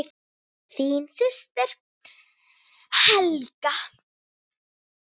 Þín systir, Helga.